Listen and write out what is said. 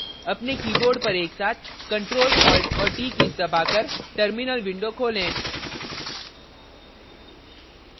अपने keyboard पर एकसाथ ctrl + alt + t कीज़ दबाकर terminal window खोलें